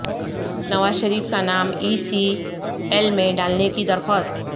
نوازشریف کا نام ای C L میں ڈالنے کی درخواست